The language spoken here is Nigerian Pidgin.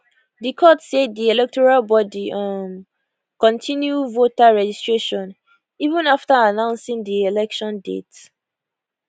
di court say di electoral body um kontinu voter registration even afta announcing di election date